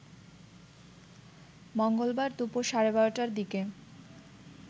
মঙ্গলবার দুপুর সাড়ে ১২টার দিকে